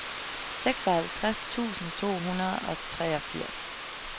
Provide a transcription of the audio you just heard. seksoghalvtreds tusind to hundrede og treogfirs